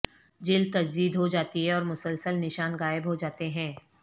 جلد تجدید ہو جاتی ہے اور مسلسل نشان غائب ہو جاتے ہیں